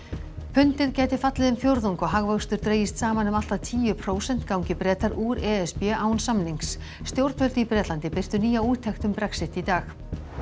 pundið gæti fallið um fjórðung og hagvöxtur dregist saman um allt að tíu prósent gangi Bretar úr e s b án samnings stjórnvöld í Bretlandi birtu nýja úttekt um Brexit í dag